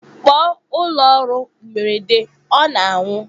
Kpọọ ụlọ ọrụ mberede ọ na-anwụ!.